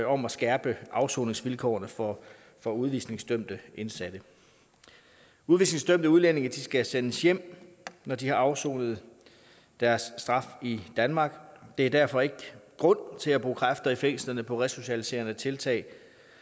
om at skærpe afsoningsvilkårene for for udvisningsdømte indsatte udvisningsdømte udlændinge skal sendes hjem når de har afsonet deres straf i danmark der er derfor ikke grund til at bruge kræfter i fængslerne på resocialiserende tiltag